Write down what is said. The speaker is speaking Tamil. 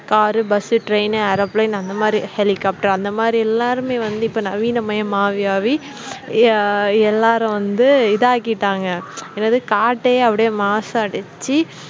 car, bus, train, airplane அந்த மாதிரி helicopter அந்த மாதிரி எல்லாருமே வந்து இப்ப நவீனமயம் ஆகி ஆகி எ எல்லாரும் வந்து இதாகிட்டாங்க என்னது காட்டையே அப்படியே மாசடச்சி